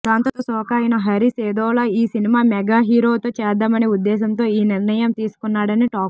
దాంతో శోక అయిన హరీష్ ఏదోలా ఈ సినిమా మెగా హీరోతో చేద్దామనే ఉద్దేశంతో ఈ నిర్ణయం తీసుకున్నాడని టాక్